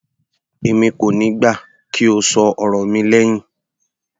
Èmi kò níí gbà kí o ṣọ ọ̀rọ̀ mi lẹhin.